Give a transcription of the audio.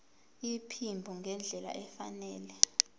iphimbo ngendlela efanele